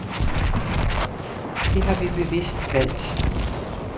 Det har vi bevidst valgt.